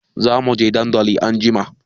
Zamuje dandali anjima